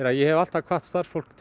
að ég hef alltaf hvatt starfsfólk